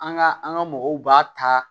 An ka an ka mɔgɔw b'a ta